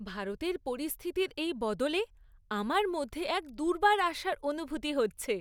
ভারতের পরিস্থিতির এই বদলে আমার মধ্যে এক দুর্বার আশার অনুভূতি হচ্ছে।